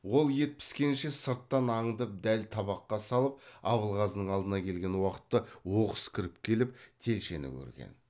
ол ет піскенше сырттан аңдып дәл табаққа салып абылғазының алдына келген уақытта оқыс кіріп келіп телшені көрген